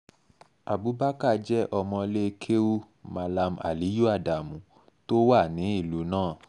abubakar jẹ́ ọmọ ilé kéwu mallam aliyu adamu tó wà ní ìlú náà